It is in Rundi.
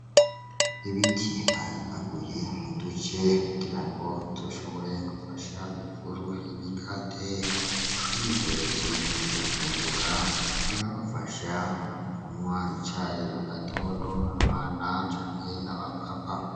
Ibiti bayimbaguye muduce kugira ngo zoshobore gufasha mw ivuru y'imikate abyihereje bakayifungura irabafasha umgunywa icaye mu gatondo abana canke aba papa.